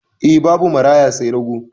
Eh, babu maraya sai rago.